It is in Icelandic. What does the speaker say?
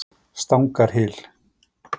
Stangarhyl